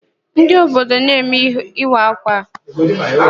Ndị ododo na-eme ịwa ákwà gynyere: Ihite Uboma, Ehime Mbanọ, Obowo, Amakohịa na ndị ọ̀zọ́.